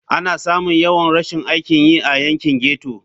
Ana samun yawan rashin aikin yi a yankin ghetto.